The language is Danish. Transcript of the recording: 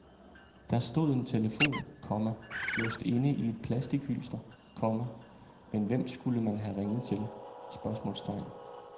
Der stod en telefon, komma låst inde i et plastichylster, komma men hvem skulle man have ringet til? spørgsmålstegn